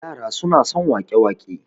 yara suna son wake- wake